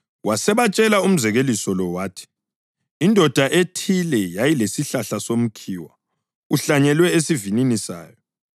Wasebatshela umzekeliso lo wathi, “Indoda ethile yayilesihlahla somkhiwa uhlanyelwe esivinini sayo, yasisiyacinga izithelo kuwo, kodwa yaziswela.